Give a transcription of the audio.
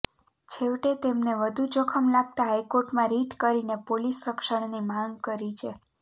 છેવટે તેમને વધુ જોખમ લાગતા હાઇકોર્ટમાં રિટ કરીને પોલીસ રક્ષણની માગ કરી છે